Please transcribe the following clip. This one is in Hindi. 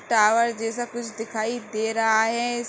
टावर जैसा कुछ दिखाई दे रहा है।